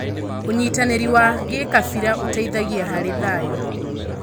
ũnyitanĩri wa gĩkabira ũteithagia harĩ thayũ.